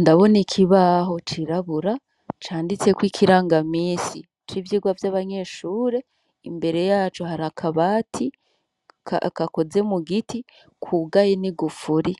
Ndabona ikibaho cirabura canditseko ikiranga misi c'ivyirwa vy'abanyeshure imbere yacu hari akabati akakoze mu giti kugaye ni gufuri